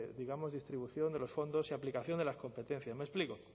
de digamos distribución de los fondos y aplicación de las competencias me explico o